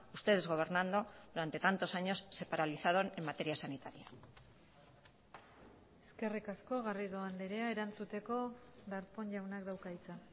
ustedes gobernando durante tantos años se paralizaron en materia sanitaria eskerrik asko garrido andrea erantzuteko darpón jaunak dauka hitza